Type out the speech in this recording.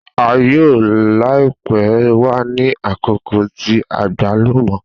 A yoo laipe wa ni akoko ti agbalumo.